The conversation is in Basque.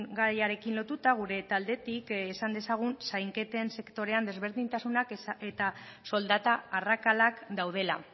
gaiarekin lotuta gure taldetik esan dezagun zainketen sektorean desberdintasunak eta soldata arrakalak daudela